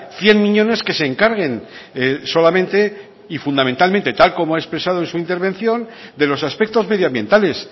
cien miñones que se encarguen solamente y fundamentalmente tal como ha expresado en su intervención de los aspectos medioambientales